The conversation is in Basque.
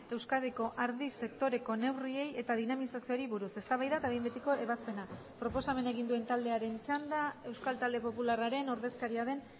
euskadiko ardi sektoreko neurriei eta dinamizazioari buruz eztabaida eta behin betiko ebazpena proposamena egin duen taldearen txanda euskal talde popularraren ordezkaria den